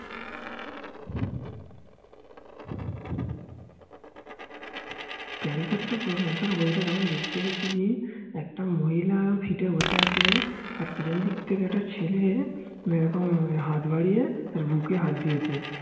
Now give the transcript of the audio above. বই তা যখন দেখতে গিয়েছে একটা মহিলা সিটে বসে আছে আর পিছন দিক থেকে একটা ছেলে হাত বাড়িয়ে তার বুকে হাত দিয়েছে